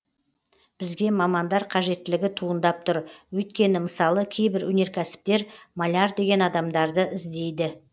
бізге мамандар қажеттілігі туындап тұр өйткені мысалы кейбір өнеркәсіптер маляр деген адамдарды іздейді